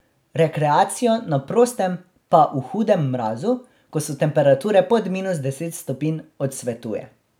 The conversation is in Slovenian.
Rekreacijo na prostem pa v hudem mrazu, ko so temperature pod minus deset stopinj, odsvetuje.